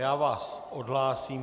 Já vás odhlásím.